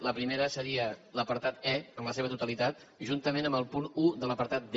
la primera seria de l’apartat e en la seva totalitat juntament amb el punt un de l’apartat d